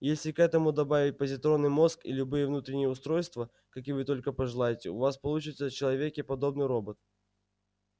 и если к этому добавить позитронный мозг и любые внутренние устройства какие вы только пожелаете у вас получится человеке подобный робот